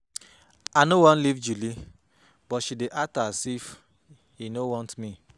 I no wan leave Julie but she dey act as if he no want me